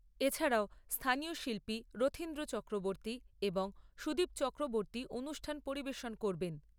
এছাড়াও স্থানীয় শিল্পী রথীন্দ্র চক্রবর্ত্তী এবং সুদীপ চক্রবর্ত্তী অনুষ্ঠান পরিবেশন করবেন।